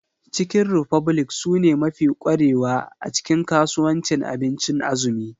Chicken republic sune mafi kwarewa a cikin kasuwancin abincin azumi.